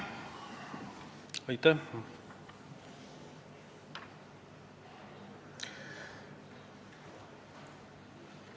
Aitäh!